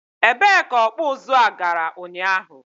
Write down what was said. e bee ka ọkpụ ụzụ a gara ụnyaahụ?